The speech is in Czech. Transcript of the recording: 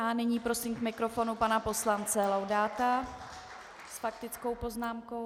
A nyní prosím k mikrofonu pana poslance Laudáta s faktickou poznámkou.